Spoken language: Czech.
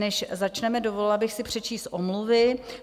Než začneme, dovolila bych si přečíst omluvy.